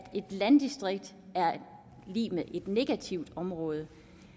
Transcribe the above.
et landdistrikt er lig med et negativt område